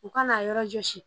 U ka n'a yɔrɔ jɔsi